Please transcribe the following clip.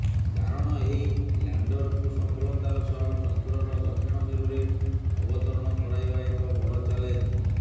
କାରଣ ଏହି ଲ୍ୟାଣ୍ଡରକୁ ସଫଳତାର ସହ ଚନ୍ଦ୍ରର ଦକ୍ଷିଣ ମେରୁରେ ଅବତରଣ କରାଇବା ଏକ ବଡ ଚାଲେଞ୍ଜ